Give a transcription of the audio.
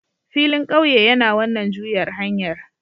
Filin ƙauye yana wannan juyar hanyar